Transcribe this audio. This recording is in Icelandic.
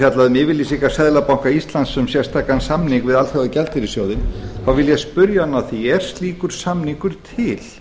fjallaði um yfirlýsingar seðlabanka íslands um sérstakan samning við alþjóðagjaldeyrissjóðinn þá vil ég spyrja hann að því er slíkur samningur til